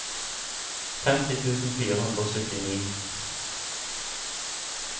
femti tusen fire hundre og syttini